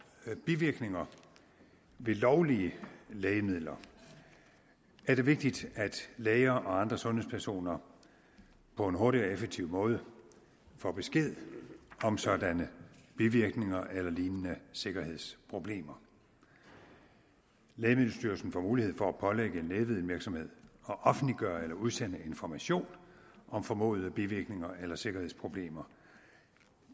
bivirkninger ved lovlige lægemidler er det vigtigt at læger og andre sundhedspersoner på en hurtig og effektiv måde får besked om sådanne bivirkninger eller lignende sikkerhedsproblemer lægemiddelstyrelsen får mulighed for at pålægge en lægemiddelvirksomhed at offentliggøre eller udsende information om formodede bivirkninger eller sikkerhedsproblemer